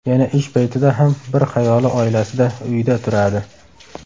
Yana ish paytida ham bir xayoli oilasida, uyida turadi.